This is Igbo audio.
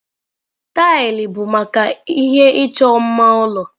Taịlị bụ maka ihe ịchọ mma ụlọ.